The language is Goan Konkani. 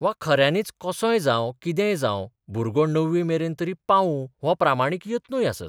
वा खऱ्यांनीच कसोय जावं किर्तेय जावं भुरगो णवीमेरेन तरी पावूं हो प्रामाणीक यत्नूय आसात.